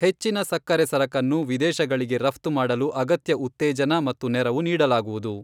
ಹೆಚ್ಚಿನ ಸಕ್ಕರೆ ಸರಕನ್ನು ವಿದೇಶಗಳಿಗೆ ರಫ್ತು ಮಾಡಲು ಅಗತ್ಯ ಉತ್ತೇಜನ ಮತ್ತು ನೆರವು ನೀಡಲಾಗುವುದು.